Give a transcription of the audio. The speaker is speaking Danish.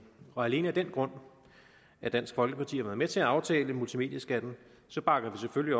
alene af den grund at dansk folkeparti har været med til at aftale multimedieskatten bakker vi selvfølgelig